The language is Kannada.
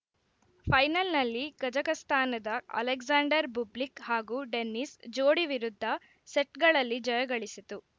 ಫೈನಲ್‌ನಲ್ಲಿ ಕಜಕಸ್ತಾನದ ಅಲೆಕ್ಸಾಂಡರ್‌ ಬುಬ್ಲಿಕ್‌ ಹಾಗೂ ಡೆನಿಸ್‌ ಜೋಡಿ ವಿರುದ್ಧ ಸೆಟ್‌ಗಳಲ್ಲಿ ಜಯಗಳಿಸಿತು